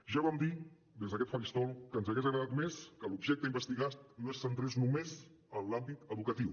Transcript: ja vam dir des d’aquest faristol que ens hagués agradat més que l’objecte investigat no es centrés només en l’àmbit educatiu